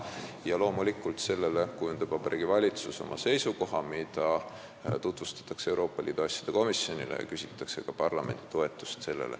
Ja loomulikult kujundab Vabariigi Valitsus vastavalt sellele oma seisukoha, mida tutvustatakse Euroopa Liidu asjade komisjonile ja millele küsitakse ka parlamendi toetust.